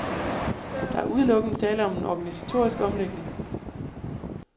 Der er udelukkende tale om en organisatorisk omlægning.